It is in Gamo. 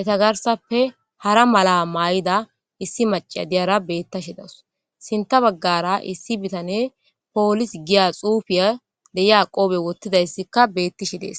eta garsappe hara mala maay7ida issi maca diyara beettashidaws sinta baggara issi bitane poolis giya xuufiya deya qoobe wottidayssikka bettishi dees